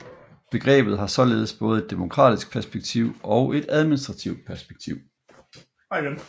Begrebet har således både et demokratisk perspektiv og et administrativt perspektiv